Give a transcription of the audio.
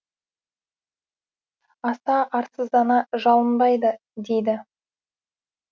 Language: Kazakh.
аса арсыздана жалынбайды дейді